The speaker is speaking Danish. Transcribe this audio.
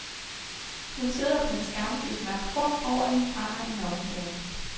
Hun sidder på en skammel i et mørkt rum, over hende brænder en nøgen pære.